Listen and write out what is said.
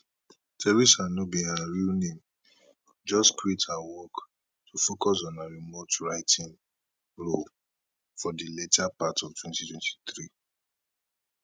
theresa no be her real name just quit her office work to focus on her remote writing role for di later part of 2023